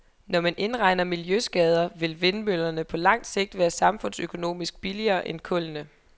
Når man indregner miljøskader vil vindmøllerne på langt sigt være samfundsøkonomisk billigere end kullene.